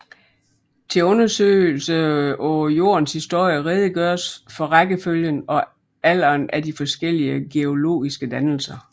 Til undersøgelse af Jordens historie redegøres for rækkefølgen og alderen af de forskellige geologiske dannelser